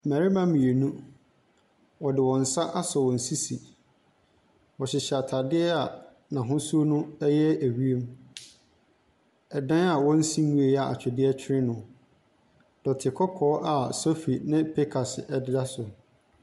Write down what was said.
Mbɛrema mienu, wɔde wɔn nsa asɔ wɔn sisi. Wɔhyehyɛ ataadeɛ n'ahosuo no ɛyɛ ewiem. Ɛdan a wɔnsi wie a atwedeɛ twere no. Dɔte kɔkɔɔ a sofi ne pikas ɛbea so.